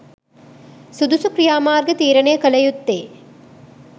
සුදුසු ක්‍රියා මාර්ග තීරණය කළ යුත්තේ